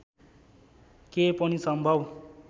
के पनि सम्भव